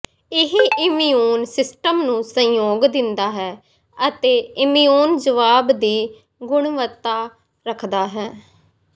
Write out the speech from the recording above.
ਇਹ immune system ਨੂੰ ਸਹਿਯੋਗ ਦਿੰਦਾ ਹੈ ਅਤੇ ਇਮਿਊਨ ਜਵਾਬ ਦੀ ਗੁਣਵੱਤਾ ਰੱਖਦਾ ਹੈ